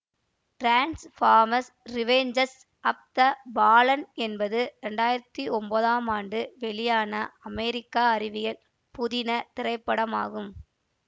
டிரான்ஸ்ஃபார்மஸ் revenge of the fallen என்பது இரண்டாயிரத்தி ஒன்பதாம் ஆண்டு வெளியான அமெரிக்கா அறிவியல் புதின திரைப்படமாகும்